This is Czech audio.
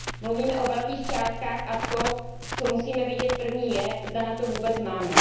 Mluvíme o velkých částkách a to, co musíme vědět první, je, zda na to vůbec máme.